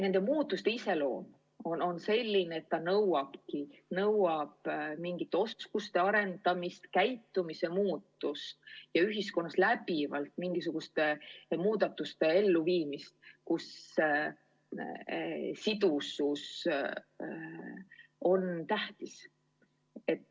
Nende muutuste iseloom on selline, et see nõuab mingite oskuste arendamist, käitumise muutust ja ühiskonnas läbivalt mingisuguste muudatuste elluviimist nii, et sidusus on tähtis.